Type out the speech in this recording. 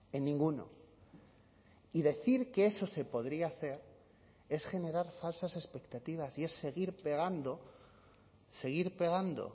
en ninguno y decir que eso se podría hacer es generar falsas expectativas y es seguir pegando seguir pegando